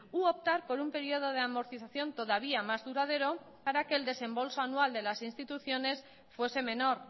u optar por un periodo de amortización todavía más duradero para que el desembolso anual de las instituciones fuese menor